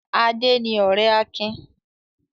Adé ni ọ̀rẹ́ Akin.